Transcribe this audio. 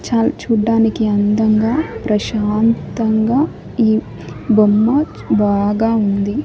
చాల్ చూడ్డానికి అందంగా ప్రశాంతంగా ఈ బొమ్మ బాగా ఉంది.